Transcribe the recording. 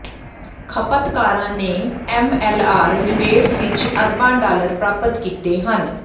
ਖਪਤਕਾਰਾਂ ਨੇ MLR rebates ਵਿੱਚ ਅਰਬਾਂ ਡਾਲਰ ਪ੍ਰਾਪਤ ਕੀਤੇ ਹਨ